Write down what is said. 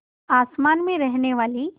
आसमान में रहने वाली